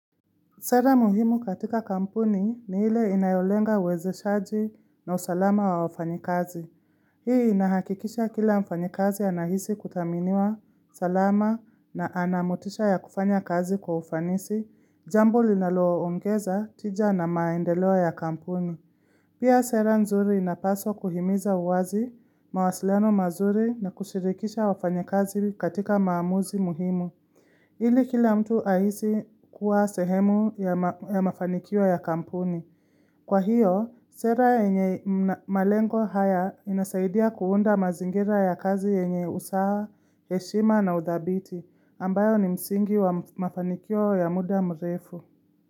Sera muhimu katika kampuni ni ile inayolenga uwezeshaji na usalama wa wafanyi kazi. Hii inahakikisha kila mfanyi kazi anahisi kudhaminiwa salama na anamotisha ya kufanya kazi kwa ufanisi, jambo linalo ongeza tija na maendeleo ya kampuni. Pia sera nzuri inapaswa kuhimiza uwazi, mawasiliano mazuri na kushirikisha wafanyi kazi katika maamuzi muhimu. Hili kila mtu ahisi kuwa sehemu ya mafanikio ya kampuni. Kwa hiyo, sera yenye malengo haya inasaidia kuunda mazingira ya kazi yenye usaha, heshima na udhabiti, ambayo ni msingi wa mafanikio ya muda mrefu.